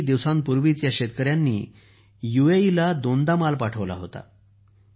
काही काळापूर्वीच या शेतकऱ्यांनी यूएईला दोनदा माल पाठवला होता